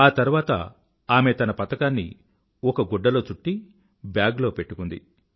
ఆ తర్వాత ఆమె తన పతకాన్ని ఒక గుడ్డలో చుట్టి బ్యాగ్ లో పెట్టుకుంది